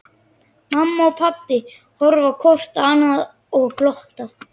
Mamma og pabbi horfa hvort á annað og glotta.